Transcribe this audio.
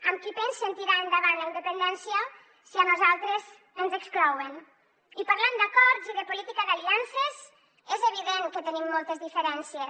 amb qui pensen tirar endavant la independència si a nosaltres ens exclouen i parlant d’acords i de política d’aliances és evident que tenim moltes diferències